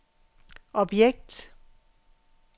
objekt